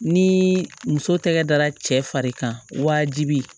Ni muso tɛgɛ dara cɛ fari kan wajibi